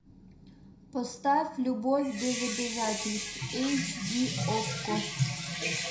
поставь любовь без обязательств эйч ди окко